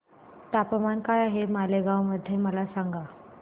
तापमान काय आहे मालेगाव मध्ये मला सांगा